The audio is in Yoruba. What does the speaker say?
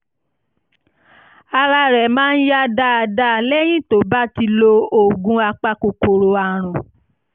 ara rẹ̀ máa yá dáadáa lẹ́yìn tó bá ti lo oògùn apakòkòrò àrùn